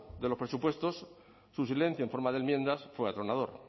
de los presupuestos su silencio en forma de enmiendas fue atronador